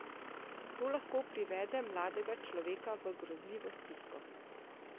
To lahko privede mladega človeka v grozljivo stisko!